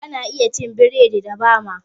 Ana iya cin burodi da bama